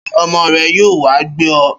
Ṣé ọmọ rẹ yóò wá gbé ọ?